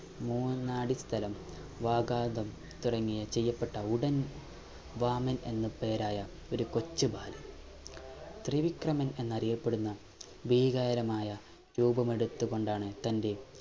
മൂന്നാലു സ്ഥലം വാഗാതം തുടങ്ങിയ ചെയ്യപ്പെട്ട ഉടൻ വാമൻ എന്ന് പേരായ ഒരു കൊച്ചു ബാലൻ ത്രിവിക്രമൻ എന്ന് അറിയപ്പെടുന്ന ഭീകാരമായ രൂപമെടുത്തു കൊണ്ടാണ് തൻ്റെ